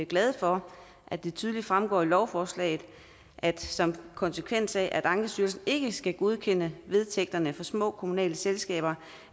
glade for at det tydeligt fremgår af lovforslaget at som konsekvens af at ankestyrelsen ikke skal godkende vedtægterne for små kommunale selskaber